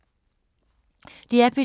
DR P2